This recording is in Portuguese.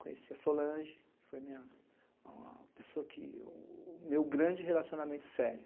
Conheci a Solange, que foi a minha, a pessoa que... o meu grande relacionamento sério.